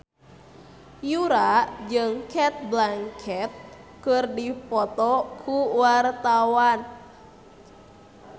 Yura jeung Cate Blanchett keur dipoto ku wartawan